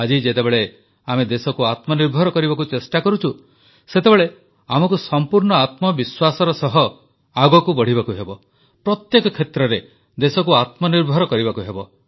ଆଜି ଯେତେବେଳେ ଆମେ ଦେଶକୁ ଆତ୍ମନିର୍ଭର କରିବାକୁ ଚେଷ୍ଟା କରୁଛୁ ସେତେବେଳେ ଆମକୁ ସମ୍ପୂର୍ଣ୍ଣ ଆତ୍ମବିଶ୍ୱାସର ସହ ଆଗକୁ ବଢ଼ିବାକୁ ହେବ ପ୍ରତ୍ୟେକ କ୍ଷେତ୍ରରେ ଦେଶକୁ ଆତ୍ମନିର୍ଭର କରିବାକୁ ହେବ